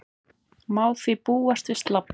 Má því búast við slabbi